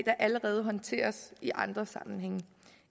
der allerede håndteres i andre sammenhænge